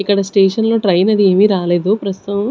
ఇక్కడ స్టేషన్ లో ట్రైన్ అది ఏమీ రాలేదు ప్రస్తుతం.